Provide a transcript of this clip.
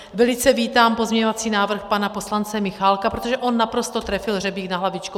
Velice vítám pozměňovací návrh pana poslance Michálka, protože on naprosto trefil hřebík na hlavičku.